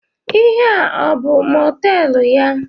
Ihe a abụ mọteelụ ya?